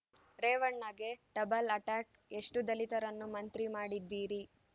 ರೇವಣ್ಣಗೆ double attack ಎಷ್ಟುದಲಿತರನ್ನು ಮಂತ್ರಿ ಮಾಡಿದ್ದೀರಿ